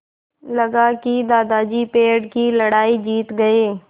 लगा कि दादाजी पेड़ की लड़ाई जीत गए